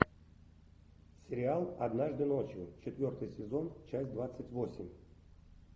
сериал однажды ночью четвертый сезон часть двадцать восемь